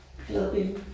Glad billede